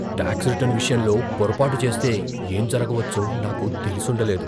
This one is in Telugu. టాక్స్ రిటర్న్ విషయంలో పొరపాటు చేస్తే ఏం జరగవచ్చో నాకు తెలిసుండ లేదు.